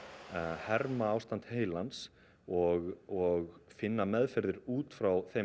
herma ástand heilans og og finna meðferðir út frá þeim